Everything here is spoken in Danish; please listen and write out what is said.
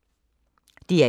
DR1